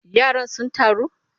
Yaran sun taru?